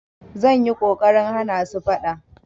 Zan yi ƙoƙarin hana su faɗa.